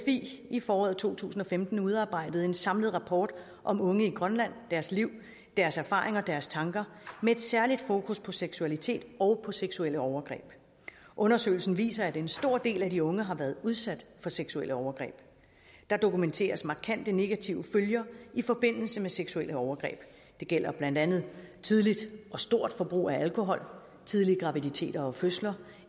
i foråret to tusind og femten udarbejdet en samlet rapport om unge i grønland deres liv deres erfaringer og deres tanker med særlig fokus på seksualitet og på seksuelle overgreb undersøgelsen viser at en stor del af de unge har været udsat for seksuelle overgreb der dokumenteres markante negative følger i forbindelse med seksuelle overgreb det gælder blandt andet tidligt og stort forbrug af alkohol tidlige graviditeter og fødsler